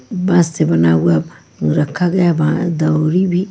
बास से बना हुआ रखा गया है दौरी भी--